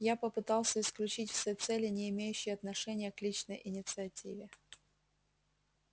я попытался исключить все цели не имеющие отношения к личной инициативе